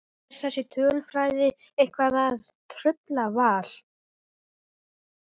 Er þessi tölfræði eitthvað að trufla Val?